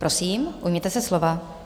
Prosím, ujměte se slova.